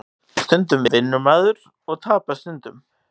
Stundum vinnur maður og tapar stundum